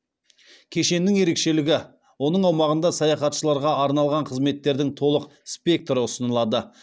кешеннің ерекшелігі оның аумағында саяхатшыларға арналған қызметтердің толық спектрі ұсынылады